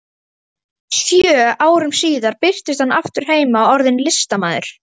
Sjö árum síðar birtist hann aftur heima, orðinn listamaður.